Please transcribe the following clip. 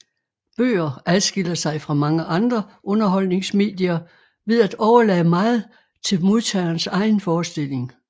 Bøger adskiller sig fra mange andre underholdningsmedier ved at overlade meget til modtagerens egen forestilling